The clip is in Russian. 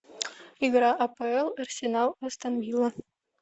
игра апл арсенал астон вилла